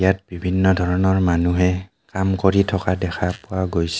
ইয়াত বিভিন্ন ধৰণৰ মানুহে কাম কৰি থকা দেখা পোৱা গৈছে.